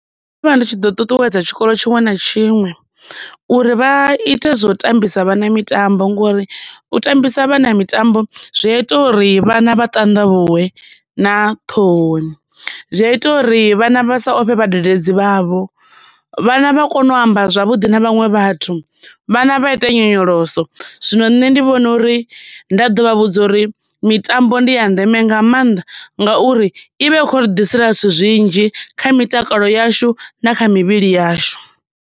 Ndo vha ndi tshi ḓo ṱuṱuwedza tshikolo tshiṅwe na tshiṅwe uri vha ite zwo tambisa vhana mitambo ngori u ṱambisa vhana mitambo zwi a ita uri vhana vha ṱanḓavhuwe na ṱhohoni, zwi a ita uri vhana vha sa ofhe vhadededzi vhavho, vhana vha kone u amba zwavhuḓi na vhaṅwe vhathu vhana vha ita nyonyoloso. Zwino nṋe ndi vhona uri nda ḓo vha vhudza uri mitambo ndi ya ndeme nga maanḓa ngauri ivha i kho ri ḓisela zwithu zwinzhi kha mitakalo yashu na kha mivhili yashu.